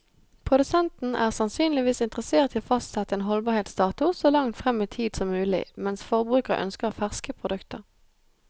Produsenten er sannsynligvis interessert i å fastsette en holdbarhetsdato så langt frem i tid som mulig, mens forbruker ønsker ferske produkter.